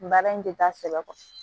Baara in tɛ taa sɛbɛ kɔ